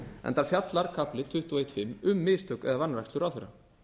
enda fjallar kafli tuttugu og einn fimm um mistök eða vanrækslu ráðherra